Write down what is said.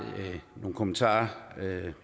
nogle kommentarer